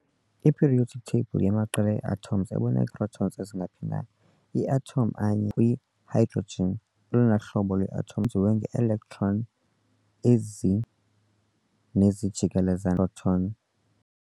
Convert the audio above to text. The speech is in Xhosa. I-periodic table yamaqela ee-atoms ebonakalisa atoms ezingaphi na. I-atom enye kwi-hydrogen olona hlobo lwe-atom yenziwe nge-electron ezi nezijikeleze i-proton.